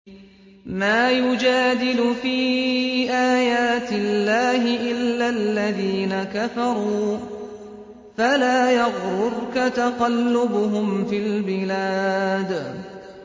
مَا يُجَادِلُ فِي آيَاتِ اللَّهِ إِلَّا الَّذِينَ كَفَرُوا فَلَا يَغْرُرْكَ تَقَلُّبُهُمْ فِي الْبِلَادِ